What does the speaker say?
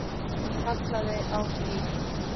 Hún kallaði á Stínu.